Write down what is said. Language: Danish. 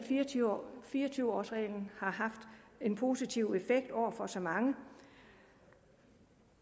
fire og tyve års reglen har haft en positiv effekt over for så mange